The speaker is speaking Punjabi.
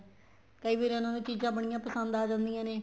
ਕਈ ਵਾਰ ਉਹਨਾ ਨੂੰ ਚੀਜ਼ਾਂ ਬਣੀਆਂ ਪਸੰਦ ਆ ਜਾਂਦੀਆਂ ਨੇ